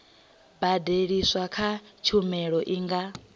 badeliswaho kha tshumelo i nga